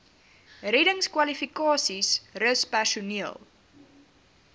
reddingskwalifikasies rus personeel